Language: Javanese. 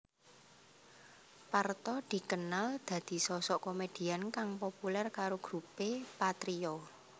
Parto dikenal dadi sosok komedian kang populer karo grupé Patrio